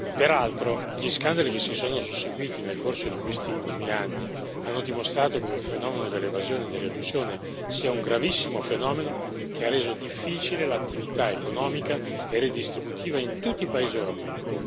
Peraltro, gli scandali che si sono susseguiti nel corso di questi ultimi anni hanno dimostrato come il fenomeno dell'evasione e dell'elusione sia un gravissimo fenomeno che ha reso difficile l'attività economica e redistributiva in tutti i paesi europei.